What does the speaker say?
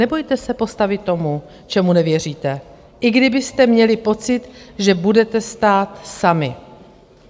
Nebojte se postavit tomu, čemu nevěříte, i kdybyste měli pocit, že budete stát sami.